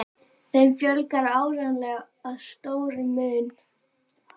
Þeim fjölgar árlega að stórum mun.